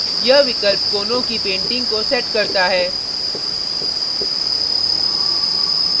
यह विकल्प कोनों की painting को sets करता है